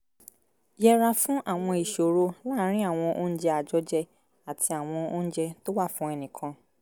yẹra fún àwọn ìṣòro láàárín àwọn oúnjẹ àjọjẹ àti àwọn oúnjẹ tó wà fún ẹnìkan